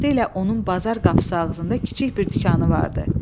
Vaxtilə onun bazar qapısı ağzında kiçik bir dükanı vardı.